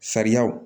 Sariyaw